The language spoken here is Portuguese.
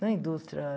Não é indústria